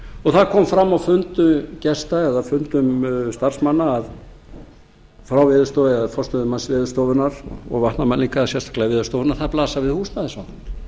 og það kom fram á fundum gesta eða fundum starfsmanna frá veðurstofu eða forstöðumanns veðurstofunnar og vatnamælinga sérstaklega veðurstofunnar að það blasa við húsnæðisvandamál